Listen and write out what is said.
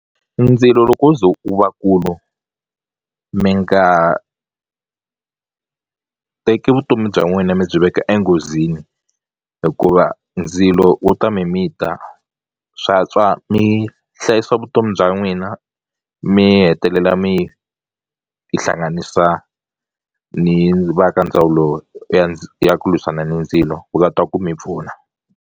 Ndzilo loko wo ze wu vakulu mi nga teki vutomi bya n'wina mi byi veka enghozini hikuva ndzilo wu ta mimita swantswa mi hlayisa vutomi bya n'wina mi hetelela mi tihlanganisa ni va ka ndzawulo ya ya ku lwisana ni ndzilo ku va ta ku mi pfuna.